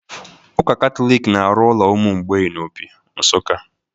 Ụka Katọlik na-arụ ụlọ ụmụ mgbei na Opi, Nsuka